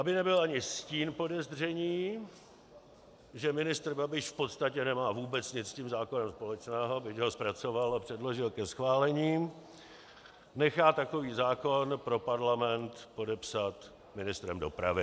Aby nebyl ani stín podezření, že ministr Babiš v podstatě nemá vůbec nic s tím zákonem společného, byť ho zpracoval a předložil ke schválení, nechá takový zákon pro parlament podepsat ministrem dopravy.